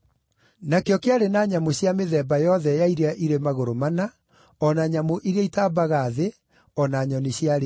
Nakĩo kĩarĩ na nyamũ cia mĩthemba yothe ya iria irĩ magũrũ mana, o na nyamũ iria itaambaga thĩ, o na nyoni cia rĩera-inĩ.